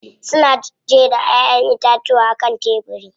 Suna jera Ƴaƴan itatuwa a kan tebiri.